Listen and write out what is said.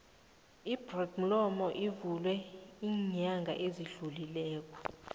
ibloed molo ivulwe ilnyanga ezidlulileko